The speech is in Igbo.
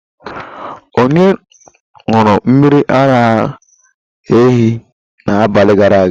Onye ṅụrụ mmiri ara ehi na n'abali gara aga?